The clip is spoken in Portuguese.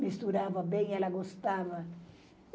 Misturava bem, ela gostava.